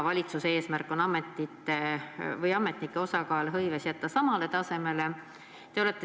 Valitsuse eesmärk on ametnike osakaal hõives jätta samale tasemele.